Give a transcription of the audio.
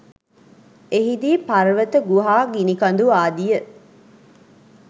එහිදී පර්වත ගුහා ගිනි කඳු ආදිය